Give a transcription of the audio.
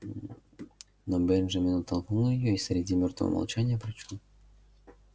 но бенджамин оттолкнул её и среди мёертвого молчания прочёл